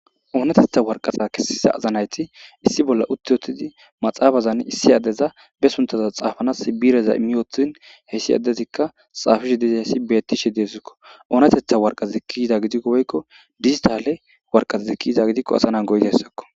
oonatetha warqasa kessiza azanayti issi bolla uttiotidi maxaafazan issi addeza be suntaza xaafanas bireza imiyootin hessi addezikka xaafishe diza hessi bettishe deesikko oonatetha warqazazi kiyiza gidikko woykko dizitale warqazazi kiiza gidikko asanan go7ta essakko